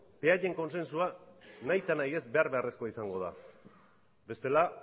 beraien kontsentsua behar beharrezkoa izango da bestela